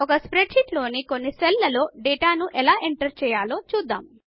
ఒక spreadsheet లోని కొన్ని సెల్ లలో డేటా ను ఎలా ఎంటర్ చేయాలో చూద్దాము